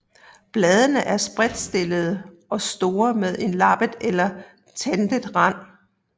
Bladene er spredtstillede og store med en lappet eller tandet rand